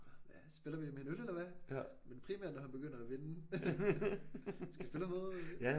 Hvad spiller vi en med en øl eller hva? Men primært når han begynder at vinde. Skal vi spille om noget?